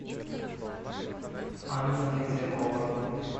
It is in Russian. анна метлякова